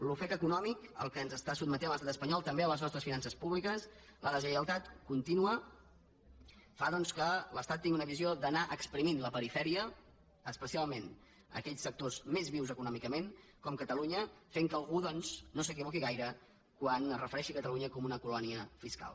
l’ofec econòmic al qual ens sotmet l’estat espanyol també a les nostres finances públiques la deslleialtat contínua fan doncs que l’estat tingui una visió d’anar exprimint la perifèria especialment aquells sectors més vius econòmicament com catalunya fent que algú doncs no s’equivoqui gaire quan es refereix a catalunya com una colònia fiscal